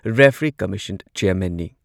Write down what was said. Referee commission ꯆꯦꯌꯥꯔꯃꯦꯟꯅꯤ꯫